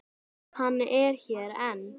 Hann er hér enn.